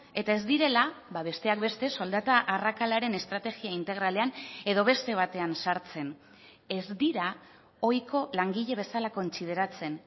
eta ez direla besteak beste soldata arrakalaren estrategia integralean edo beste batean sartzen ez dira ohiko langile bezala kontsideratzen